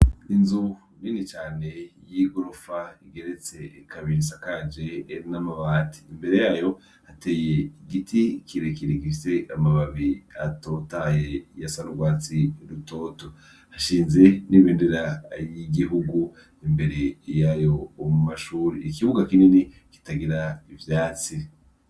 Inzu nini cane yigorofa igeretse kabiri isakaje namabati imbere yayo hateye igiti kirekire gifise amababi atotaye asa nurwatsi rutoto hashinze nibendera ryigihugu imbere yayo mumashuri ikibuga kinini kitagira ivyatsi.